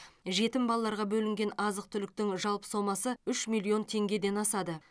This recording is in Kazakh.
жетім балаларға бөлінген азық түліктің жалпы сомасы үш миллион теңгеден асады